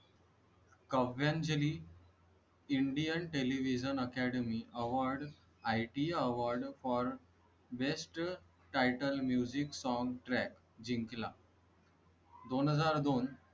Kavyanjali. indian television academy award ITA award for best title music song track जिंकला . दोन हजार दो